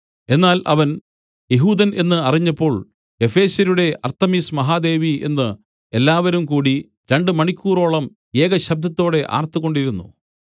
എന്നാൽ അവൻ യെഹൂദൻ എന്ന് അറിഞ്ഞപ്പോൾ എഫെസ്യരുടെ അർത്തെമിസ് മഹാദേവി എന്ന് എല്ലാവരുംകൂടി രണ്ടു മണിക്കൂറോളം ഏകശബ്ദത്തോടെ ആർത്തുകൊണ്ടിരുന്നു